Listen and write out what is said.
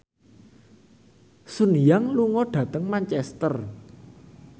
Sun Yang lunga dhateng Manchester